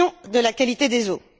de la qualité des eaux.